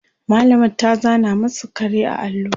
mallamar ta zana masu kare a allo